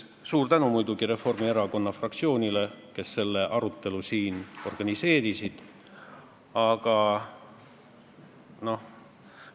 Muidugi suur tänu Reformierakonna fraktsioonile, kes tänase arutelu organiseerisid!